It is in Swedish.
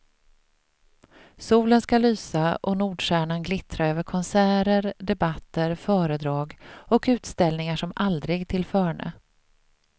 Solen skall lysa och nordstjärnan glittra över konserter, debatter, föredrag och utställningar som aldrig tillförne.